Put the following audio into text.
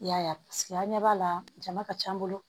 I y'a ye paseke an ɲɛ b'a la jama ka ca an bolo